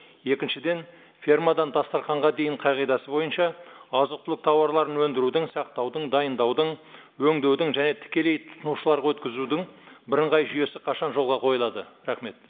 екіншіден фермадан дастраханға дейін қағидасы бойынша азық түлік тауарларын өндірудің сақтаудың дайындаудың өңдеудің және тікелей тұтынушыларға өткізудің бірыңғай жүйесі қашан жолға қойылады рахмет